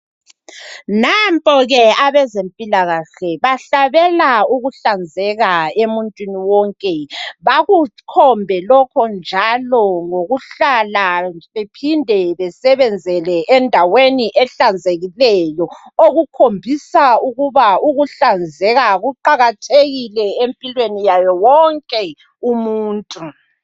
Nampo ke abezempilakahle, bahlabela ukuhlanzeka emuntwini wonke. Bakukhombe lokho, njalo ngokuhlala, njalo baphinde basebenzele endaweni ehlanzekileyo. Okukhombisa ukuba ukuhlanzeka kuqakathekile,.empilweni, yawowonke umuntu.